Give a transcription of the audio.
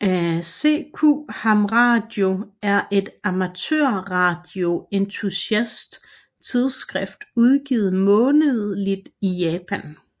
CQ ham radio er et amatørradio entusiast tidsskrift udgivet månedligt i Japan